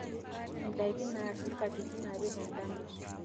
indaiki naashal katitin are tendama